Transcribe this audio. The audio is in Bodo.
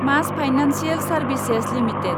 मास फाइनेन्सियेल सार्भिसेस लिमिटेड